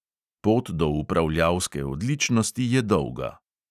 Pot do upravljalske odličnosti je dolga.